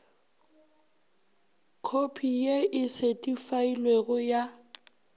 khopi ye e setheifailwego ya